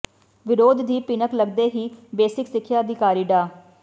ਵਿਰੋਧ ਦੀ ਭਿਨਕ ਲੱਗਦੇ ਹੀ ਬੇਸਿਕ ਸਿੱਖਿਆ ਅਧਿਕਾਰੀ ਡਾ